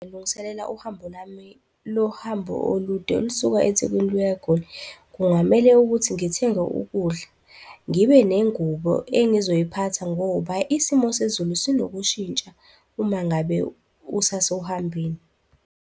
Ngilungiselela uhambo lami. Lo hambo olude, olusuka eThekwini luya eGoli. Kungamele ukuthi ngithenge ukudla, ngibe nengubo engizoyiphatha ngoba isimo sezulu sinokushintsha uma ngabe usasehambweni.